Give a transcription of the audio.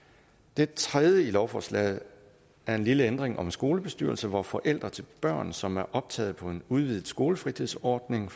det tredje i lovforslaget er en lille ændring om skolebestyrelser hvor forældre til børn som er optaget på en udvidet skolefritidsordning